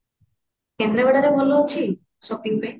କେନ୍ଦ୍ରାପଡା ରେ ଭଲ ଅଛି shopping ପାଇଁ